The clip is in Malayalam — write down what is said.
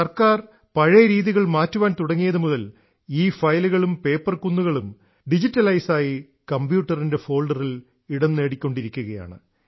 ഗവണ്മെന്റ് പഴയ രീതികൾ മാറ്റുവാൻ തുടങ്ങിയതുമുതൽ ഈ ഫയലുകളും പേപ്പർകുന്നുകളും ഡിജിറ്റലൈസായി കമ്പ്യൂട്ടറിൻറെ ഫോൾഡറിൽ ഇടംനേടിക്കൊണ്ടിരിക്കുകയാണ്